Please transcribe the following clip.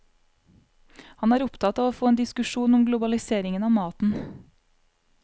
Han er opptatt av å få en diskusjon om globaliseringen av maten.